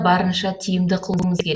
барынша тиімді қылуымыз керек